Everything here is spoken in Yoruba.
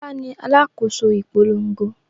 Fọlá ni alákòóso ìpolongo.